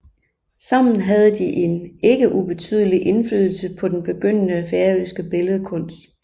Sammen havde de en ikke ubetydelig indflydelse på den begyndende færøske billedkunst